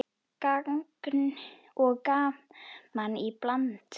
Gagn og gaman í bland.